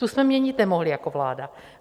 Tu jsme měnit nemohli jako vláda.